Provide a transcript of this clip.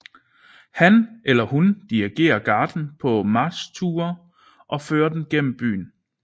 Han eller hun dirigerer garden på marchture og fører den gennem byen